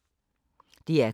DR K